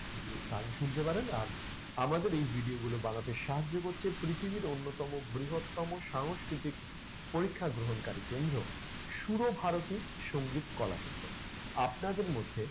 গিয়ে গান শুনতে পারেন। আর আমাদের এই video গুলো বানাতে সাহায্য করছে পৃথিবীর অন্যতম বৃহত্তম সাংস্কৃতিক পরীক্ষা গ্রহণকারী কেন্দ্র সুর ভারতী সংগীতকলা কেন্দ্র। আপনাদের মধ্যে